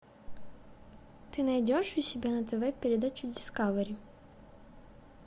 ты найдешь у себя на тв передачу дискавери